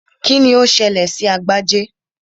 Kíni ó ṣẹlẹ̀ sí Agbájé?